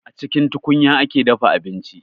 A cikin tukunya ake dafa abinci